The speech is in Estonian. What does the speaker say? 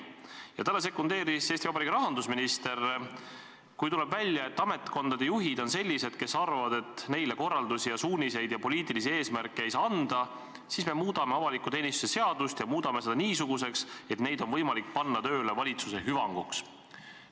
Ja talle sekundeeris Eesti Vabariigi rahandusminister: kui tuleb välja, et ametkondade juhid on sellised, kes arvavad, et neile korraldusi ja suuniseid ja poliitilisi eesmärke ei saa anda, siis me muudame avaliku teenistuse seadust ja muudame selle niisuguseks, et need inimesed on võimalik panna tööle valitsuse hüvanguks.